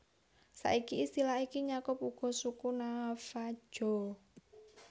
Saiki istilah iki nyakup uga suku Navajo